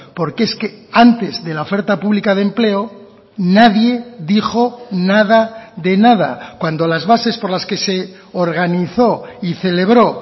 porque es que antes de la oferta pública de empleo nadie dijo nada de nada cuando las bases por las que se organizó y celebró